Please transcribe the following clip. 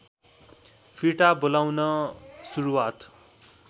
फिर्ता बोलाउन सुरुवात